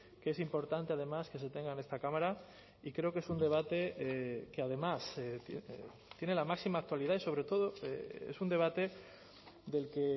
que es importante además que se tenga en esta cámara y creo que es un debate que además tiene la máxima actualidad y sobre todo es un debate del que